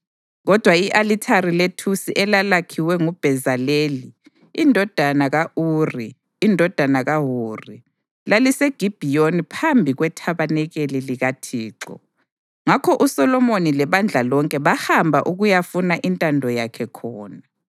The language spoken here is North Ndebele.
Kodwa i-alithari lethusi elalakhiwe nguBhezaleli indodana ka-Uri, indodana kaHuri, laliseGibhiyoni phambi kwethabanikeli likaThixo; ngakho uSolomoni lebandla lonke bahamba ukuyafuna intando yakhe khona.